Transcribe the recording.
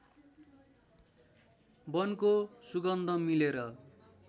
वनको सुगन्ध मिलेर